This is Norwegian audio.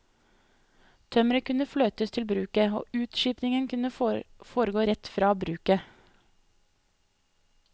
Tømmeret kunne fløtes til bruket, og utskipningen kunne foregå rett fra bruket.